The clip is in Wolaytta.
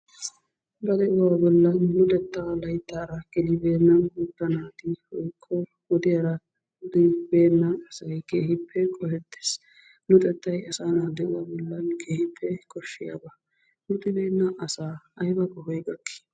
Ba de'uwa bollan luxeta layttaara gelibeena guutta naati woykko wodiyaara gelibeena asay keehippe qohettees. Luxettay asaa naa de'uwa bollan keehippe koshshiyaaba. Luxibeena asaa aybba qohoy gakki?